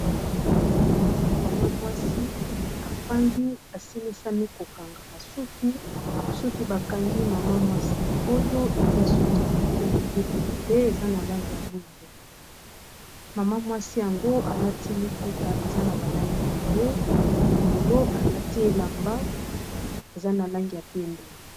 Awa ezali mama mwasi afandi asilisami kokanga masuki soki bakangi mama mwasi oyo eza suki ya moke moke ebele eza na langi ya mwindo ,mama mwasi yango alati liputa eza na balangi ebele mokolo alati elamba eza na langi ya pembe.